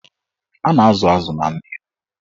A na-azụ azụ na mmiri.